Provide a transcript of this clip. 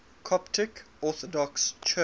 coptic orthodox church